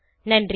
நன்றி